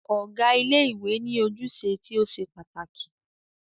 Ọ̀gá ilé ìwé ní ojúṣe tí o ṣe pàtàkì.